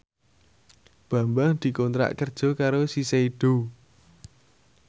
Bambang dikontrak kerja karo Shiseido